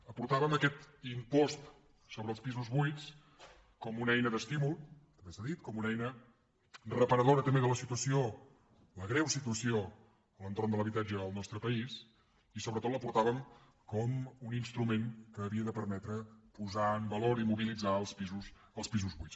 hi aportàvem aquest impost sobre els pisos buits com una eina d’estímul també s’ha dit com una eina reparadora també de la situació la greu situació entorn de l’habitatge al nostre país i sobretot la hi aportàvem com un instrument que havia de permetre posar en valor i mobilitzar els pisos buits